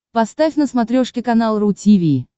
поставь на смотрешке канал ру ти ви